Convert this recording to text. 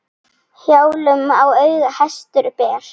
Hjálm í auga hestur ber.